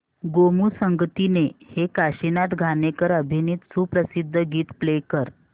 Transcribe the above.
गोमू संगतीने हे काशीनाथ घाणेकर अभिनीत सुप्रसिद्ध गीत प्ले कर